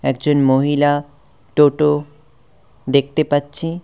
একজন মহিলা টোটো দেখতে পাচ্ছি।